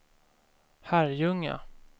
Herrljunga